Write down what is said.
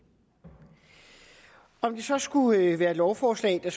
om det så skulle være et lovforslag der